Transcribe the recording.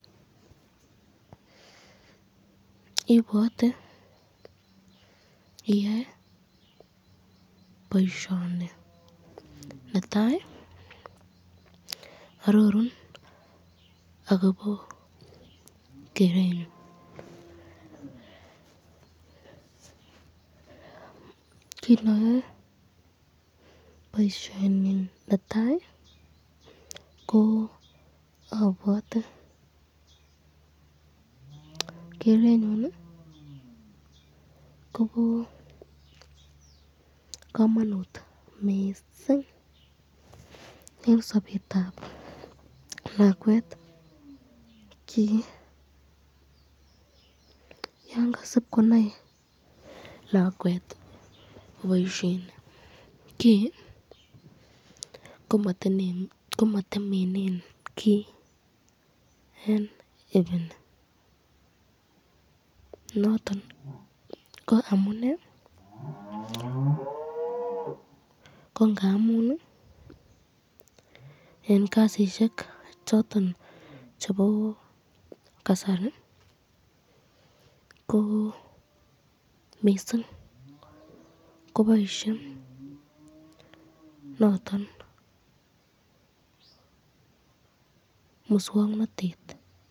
Ibwote iyoe boisyeni netai ,arorun akobo kerengun, ki nayoe boisyoni netai ko abwate kerenyun Kobo kamanut mising eng sabetab lakelwet kii, yan kasib konai lakwet koboisyen kii ,komatemenen kiy eng ibini , noton ko amune ko ngamun eng kasisyek choton chebo kasari ko mising koboisye noton muswoknotet